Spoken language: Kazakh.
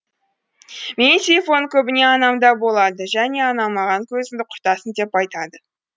менің телефоным көбіне анамда болады және анам маған көзіңді құртасың деп айтады